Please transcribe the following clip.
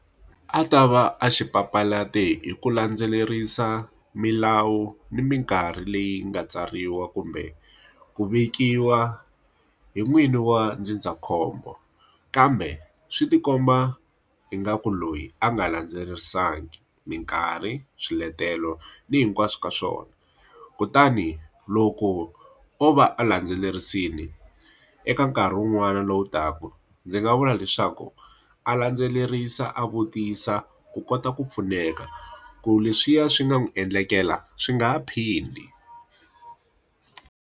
a ta va a xi papalate hi ku landzelerisa milawu ni minkarhi leyi nga tsariwa kumbe ku vekiwa hi n'wini wa ndzindzakhombo. Kambe swi ti komba ingaku loyi a nga landzelerisangi minkarhi, swiletelo ni hinkwaswo ka swona. Kutani loko o va a landzelerisile eka nkarhi wun'wana lowu taka, ndzi nga vula leswaku a landzelerisa a vutisa ku kota ku pfuneka, ku leswiya swi nga n'wi endlekela swi nga ha phindi.